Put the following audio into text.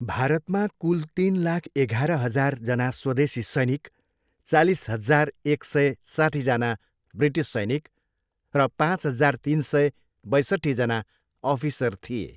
भारतमा कुल तिन लाख एघार हजारजना स्वदेशी सैनिक, चालिस हजार, एक सय, साठीजना ब्रिटिस सैनिक र पाँच हजार, तिन सय, बैसट्ठीजना अफिसर थिए।